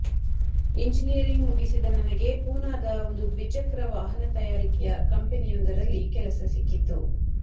engineering ಮುಗಿಸಿದ ನನಗೆ ಪೂನಾದ ಒಂದು ದ್ವಿಚಕ್ರ ವಾಹನ ತಯಾರಿಕೆಯ ಕಂಪೆನಿಯೊಂದರಲ್ಲಿ ಕೆಲಸ ಸಿಕ್ಕಿತ್ತು